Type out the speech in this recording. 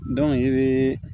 i bɛ